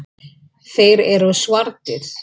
Þeir eru svartir.